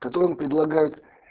которые предлагают